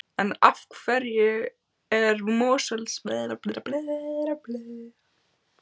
En af hverju er Mosfellsbær svona vinsælt sveitarfélag?